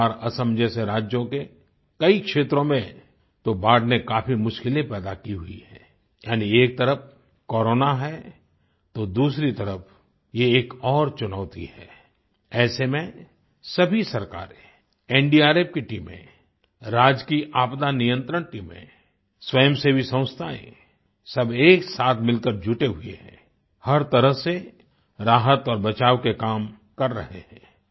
बिहार असम जैसे राज्यों के कई क्षेत्रों में तो बाढ़ ने काफी मुश्किलें पैदा की हुई हैं यानी एक तरफ कोरोना है तो दूसरी तरफ ये एक और चुनौती है ऐसे में सभी सरकारें एनडीआरएफ की टीमें राज्य की आपदा नियंत्रण टीमें स्वयं सेवी संस्थाएं सब एकसाथ मिलकर जुटे हुए हैं हर तरह से राहत और बचाव के काम कर रहे हैं